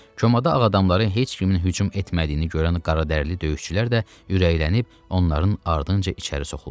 Komada ağadamları heç kimin hücum etmədiyini görən qaradərili döyüşçülər də ürəklənib onların ardınca içəri soxuldular.